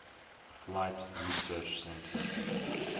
flight research center